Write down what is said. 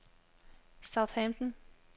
Southampton